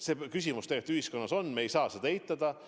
See küsimus tegelikult ühiskonnas on, me ei saa seda eitada.